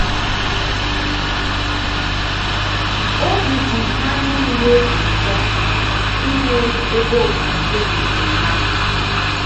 Obi dị ha nile ụtọ inwe ebe ofufe nke ha!